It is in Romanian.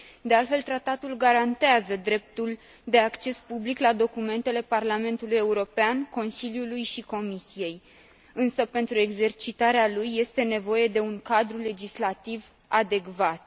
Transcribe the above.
De altfel, Tratatul garantează dreptul de acces public la documentele Parlamentului European, Consiliului și Comisiei însă, pentru exercitarea lui, este nevoie de un cadrul legislativ adecvat.